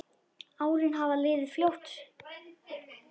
Árin hafa liðið fljótt.